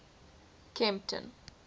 kempton